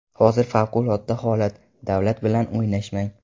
Hozir favqulodda holat, davlat bilan o‘ynashmang.